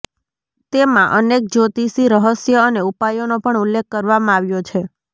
તેમાં અનેક જ્યોતિષી રહસ્ય અને ઉપાયોનો પણ ઉલ્લેખ કરવામાં આવ્યો છે